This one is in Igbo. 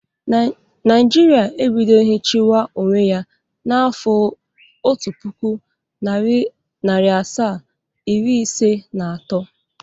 Naijiria ebidoghi chiwa onwe ya n'afọ otu puku, nari asaa, iri isii na ato.